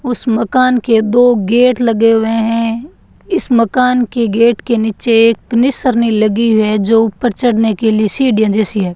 उसे मकान के दो गेट लगे हुए हैं इस मकान के गेट के नीचे एक निसरनी लगी है जो ऊपर चढ़ने के लिए सीढ़ियां जैसी है।